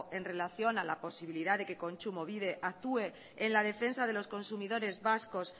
en relación a la posibilidad de que kontsumobide actúe en la defensa de los consumidores vascos